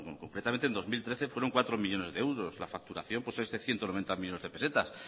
concretamente en dos mil trece fueron cuatro millónes de euros la facturación pues es de ciento noventa millónes de pesetas